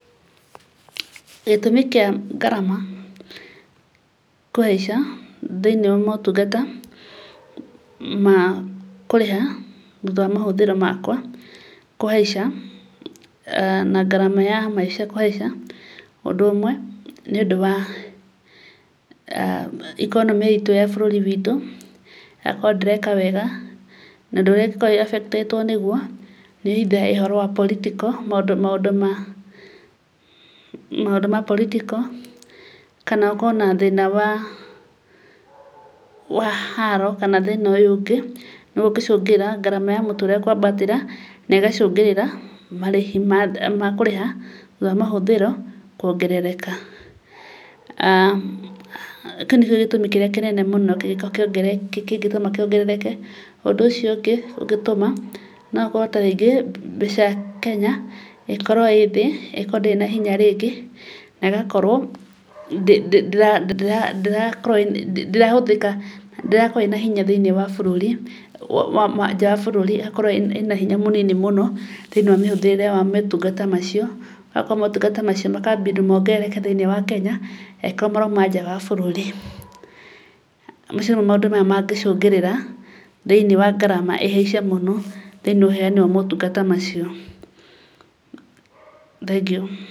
Gĩtũmi kĩa ngarama, kũhaica thĩiniĩ wa motunga, ma kũrĩha thutha wa mahũthĩro makwa kũhaica, na ngarama ya maica kũhaica, ũndũ ũmwe, nĩ ũndũ wa, economy itũ ya bũrũri witũ, ĩgakorwo ndĩreka wega, na ũndũ ũrĩa ũkoragwo ũ affect ĩtwo naguo, nĩ either ũndũ wa political, maũndũ ma, maũndũ ma political, kana ũkorwo na thĩna wa, wa haaro kana thĩna ũyũ ũngĩ, nĩguo ũngĩcũngĩrĩra ngarama ya mũtũrĩre kwambatĩra, na ĩgacũngĩrĩra marĩhi makũrĩha thutha wa mahũthĩro kuongerereka. Kĩu nĩkĩo gĩtũmi kĩrĩa kĩnene mũno kũngĩkorwo, kĩngĩtũma kĩongerereke. Ũndũ ũcio ũngĩ ũngĩtũma, na akorwo ta rĩngĩ mbeca Kenya, ĩkorwo ĩthĩ ĩngĩkorwo ndĩrĩ na hinya rĩngĩ, na ĩgakorwo ndĩrahũthĩka, ndĩrakorwo ĩna hinya thĩiniĩ wa bũrũri, nja wa bũrũri ĩgakorwo ĩna hinya mũnini mũno, thĩiniĩ na mĩhũthirĩre na motungata macio, akorwo motungata macio makambindwo mongerereke thĩiniĩ wa Kenya, angĩkorwo marauma nja wa bũrũri. Macio nĩ mo maũndũ marĩa mangĩcũngĩrĩra thĩiniĩ wa ngarama ĩhaice mũmo, thĩiniĩ wa ũheyani wa motungata macio. Thengio.